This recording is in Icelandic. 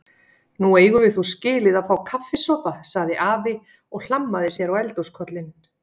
Nú eigum við þó skilið að fá kaffisopa sagði afi og hlammaði sér á eldhúskollinn.